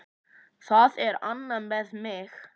Það er annað með mig.